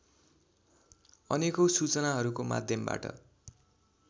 अनेकौँ सूचनाहरूको माध्यमबाट